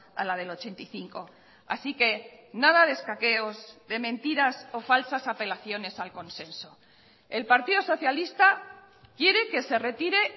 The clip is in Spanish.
a la del ochenta y cinco así que nada de escaqueos de mentiras o falsas apelaciones al consenso el partido socialista quiere que se retire